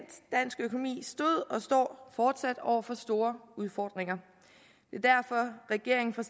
dansk økonomi stod og står fortsat over for store udfordringer at regeringen fra